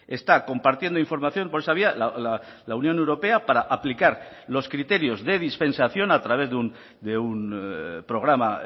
está compartiendo información por esa vía la unión europea para aplicar los criterios de dispensación a través de un programa